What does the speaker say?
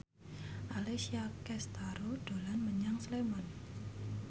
Alessia Cestaro dolan menyang Sleman